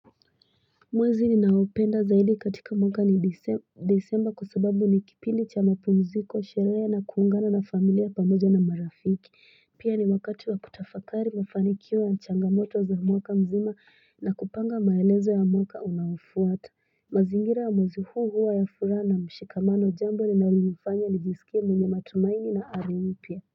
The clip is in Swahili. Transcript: Mwezi ni naopenda zaidi katika mwaka ni disemba kusababu ni kipili cha mapumziko sheraya na kuungana na familia pamoja na marafiki pia ni wakati wa kutafakari mafanikiwa ya nchanga moto za mwaka mzima na kupanga maelezo ya mwaka unaofuata mazingira ya mwezi huu huu ya furana mshikamano jambo ni naulimufanya nijisikia mwenye matumaini na alipia.